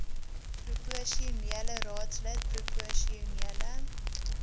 proposionele raadslid proposionele